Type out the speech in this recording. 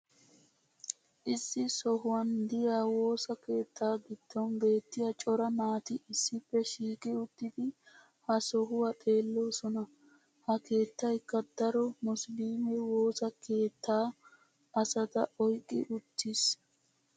issi sohuwan diya woossa keettaa giddon beetiya cora naati issippe shiiqi uttidi ha sohuwaa xeeloosona. ha keettaykka daro musiliimme woosa kaatta asata oyqqi uttiis.